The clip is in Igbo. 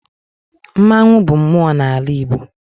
Mmanwụ bụ mmụọ n'ala Igbo.